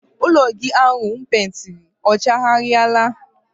Ụlọ gị ahụ m peentiri ọ chaghariala?